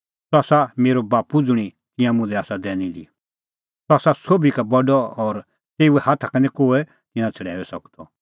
सह आसा मेरअ बाप्पू ज़ुंणी तिंयां मुल्है आसा दैनी दी सह आसा सोभी का बडअ और तेऊए हाथा का निं कोहै तिन्नां छ़ड़ैऊई सकदअ